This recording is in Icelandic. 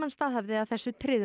staðhæfði að þessu tryðu